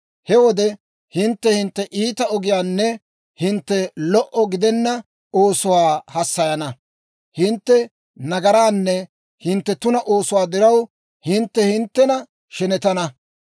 He wode hintte hintte iita ogiyaanne hintte lo"o gidenna oosuwaa hassayana; hintte nagaraanne hintte tuna oosuwaa diraw, hintte hinttena shenetana.